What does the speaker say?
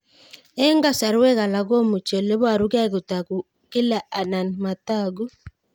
Eng' kasarwek alak komuchi ole parukei kotag'u kila anan matag'u